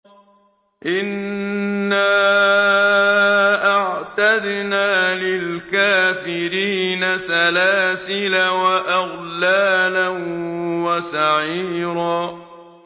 إِنَّا أَعْتَدْنَا لِلْكَافِرِينَ سَلَاسِلَ وَأَغْلَالًا وَسَعِيرًا